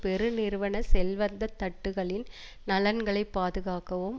பெருநிறுவன செல்வந்த தட்டுக்களின் நலன்களை பாதுகாக்கவும்